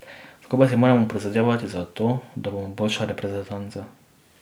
Skupaj si moramo prizadevati za to, da bomo boljša reprezentanca.